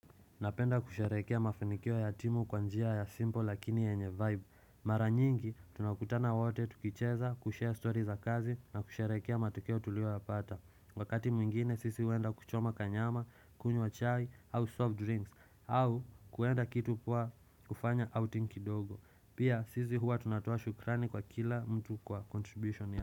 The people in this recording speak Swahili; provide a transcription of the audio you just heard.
Napenda kusherekea mafunikio ya timu kwa njia ya simpo lakini yenye vibe Mara nyingi tunakutana wote tukicheza kushare story za kazi na kusherekea matokeo tulioyapata Wakati mwingine sisi huenda kuchoma kanyama, kunywa chai, au soft drinks au kuenda kitu poa kufanya au tinkidogo Pia sisi hua tunatoa shukrani kwa kila mtu kwa contribution ya.